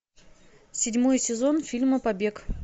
седьмой сезон фильма побег